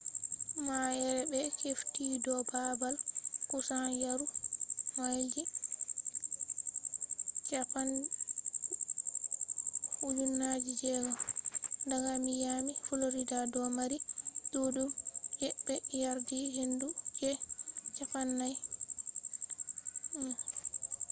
ma’ere be hefti do baabal kusan yari mailji 3,000 daga miami florida do mari ɗuɗɗum je ɓe yardi hendu je 40 mph 64kph